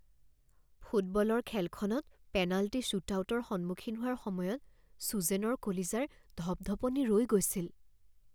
ফুটবলৰ খেলখনত পেনাল্টি শ্বুটআউটৰ সন্মুখীন হোৱাৰ সময়ত চুজেনৰ কলিজাৰ ধপধপনি ৰৈ গৈছিল